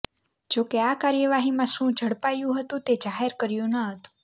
જોકે આ કાર્યવાહીમાં શું ઝડપાયું હતુંતે જાહેર કર્યું ન હતું